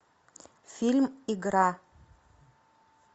фильм игра